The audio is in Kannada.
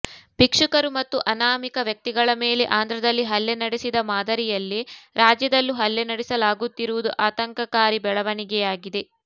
ಭಿಕ್ಷುಕರು ಮತ್ತು ಅನಾಮಿಕ ವ್ಯಕ್ತಿಗಳ ಮೇಲೆ ಆಂಧ್ರದಲ್ಲಿ ಹಲ್ಲೆ ನಡೆಸಿದ ಮಾದರಿಯಲ್ಲೇ ರಾಜ್ಯದಲ್ಲೂ ಹಲ್ಲೆ ನಡೆಸಲಾಗುತ್ತಿರುವುದು ಆತಂಕಕಾರಿ ಬೆಳವಣಿಗೆಯಾಗಿದೆ